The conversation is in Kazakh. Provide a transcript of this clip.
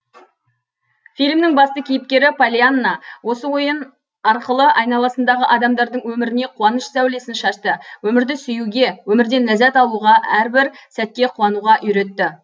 фильмнің басты кейіпкері поллианна осы ойын арқылы айналасындағы адамдардың өміріне қуаныш сәулесін шашты өмірді сүюге өмірден ләззат алуға әрбір сәтке қуануға үйретті